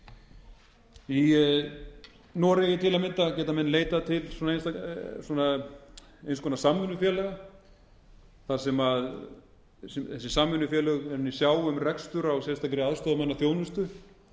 í noregi til að mynda geta menn leitað til eins konar samvinnufélaga þar sem þessi samvinnufélög sjá um rekstur á sérstakri aðstoðarmannaþjónustu þar sem fatlaðir einstaklingar geta